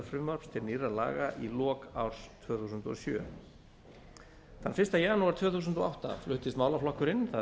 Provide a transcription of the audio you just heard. til nýrra laga í lok árs tvö þúsund og sjö þann fyrsta janúar tvö þúsund og átta fluttist málaflokkurinn það